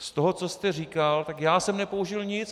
Z toho, co jste říkal, tak já jsem nepoužil nic.